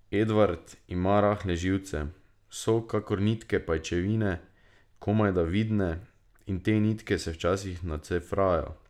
Edvard ima rahle živce, so kakor nitke pajčevine, komajda vidne, in te nitke se včasih nacefrajo.